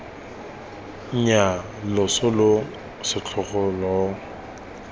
nnyaa loso lo setlhogo lo